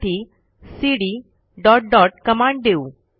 त्यासाठी CD dot dot command देऊ